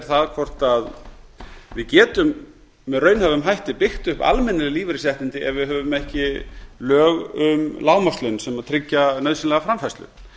það hvort við getum með raunhæfum hætta byggt upp almenn lífeyrisréttindi ef við höfum ekki lög um lágmarkslaun sem tryggja nauðsynlega framfærslu